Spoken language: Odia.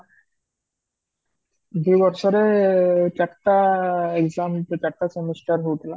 ଦି ବର୍ଷରେ ଚାରିଟା EXAM ଚାରିଟା semester ହୋଇଥିଲା